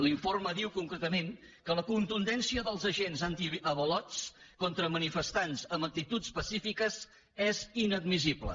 l’informe diu concretament que la contundència dels agents antiavalots contra manifestants amb actituds pacífiques és inadmissible